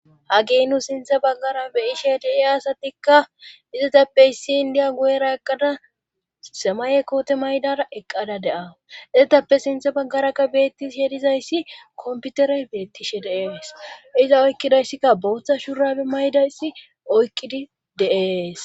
hagey nu sintha baggara beyishe dee asatikka izatappe issi indiya guyera eqqada semaye koote maydara eqqada de7au eetappe sinthe baggarakka beettishe dizayssi komputerey beettishe de7ees iza oykkidayssikka bootha shurabe maydayssi oykkidi de7es